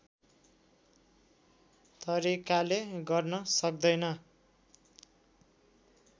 तरिकाले गर्न सक्दैन